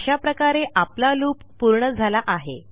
अशा प्रकारे आपला लूप पूर्ण झाला आहे